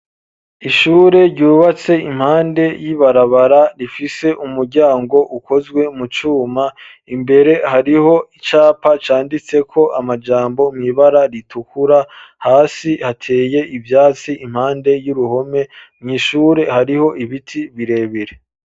Ishure ryubatse impande y'ibarabara rifise umuryango ukozwe mu cuma imbere hariho icapa canditseko amajambo mw'ibara ritukura hasi hateye ivyatsi impande y'uruhome mw'ishure hariho ibiti birebere.